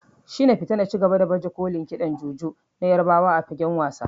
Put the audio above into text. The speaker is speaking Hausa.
Shina Pita na ci gaba da baje kolin kiɗan Juju na Yarbawa a fagen wasa.